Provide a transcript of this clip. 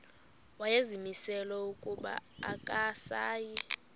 wayezimisele ukuba akasayi